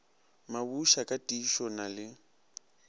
mabusha ka tiišo na le